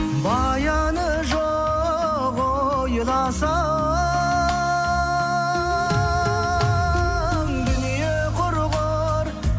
баяны жоқ ойласаң дүние құрғыр